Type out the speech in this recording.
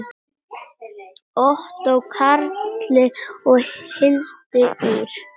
Ottó Karli og Hildi Ýr.